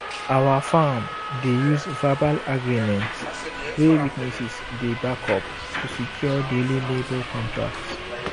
our farm dey use verbal agreement wey witnesses dey back up to secure daily labour contracts.